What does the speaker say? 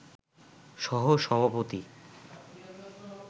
সহ সভাপতি